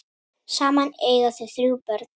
Saman eiga þau þrjú börn.